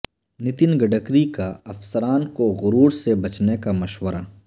نتن گڈکری کا افسران کو غرور سے بچنے کامشورہ